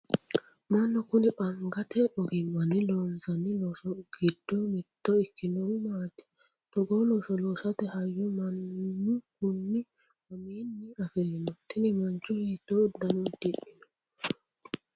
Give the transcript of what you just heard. manni kuni angate ogimmanni loosanno loosi giddo mitto ikkinohu maati? togoo looso loosate hayyo mannu kuni mamiinni afirino? tini mancho hiitto uddano udidhino?